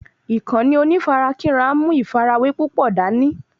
Ìkànnì onífarakínra ń mú ìfàrawé púpò dání